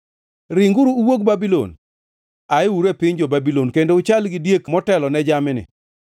“Ringuru uwuog Babulon; ayeuru e piny jo-Babulon, kendo uchal gi diek motelone jamni.